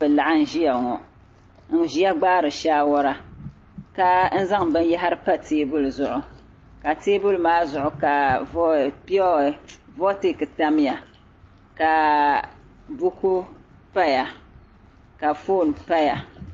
Bɛ laɣim ʒiya ŋɔ n-ʒiya gbaari shaawara ka n-zaŋ binyɛhiri PA teebuli zuɣu ka teebuli maa zuɣu ka voltiki tamya ka buku paya ka foon paya